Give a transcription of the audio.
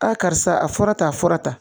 A karisa a fɔra ta a fɔra tan